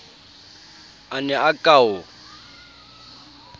a ne a ka o